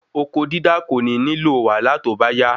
oko dídá kò ní nílò wàhálà tó bá yá